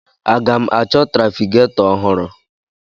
Aga m achọ trafigetọ ọhụrụ?